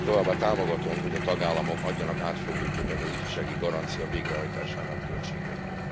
Továbbá támogatom, hogy a tagállamok adjanak átfogó képet az ifjúsági garancia végrehajtásának költségeiről.